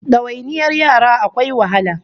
Dawainiyar yara akwai wahala